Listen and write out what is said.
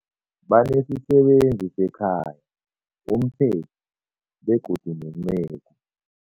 Banesisebenzi sekhaya, umpheki, begodu nenceku.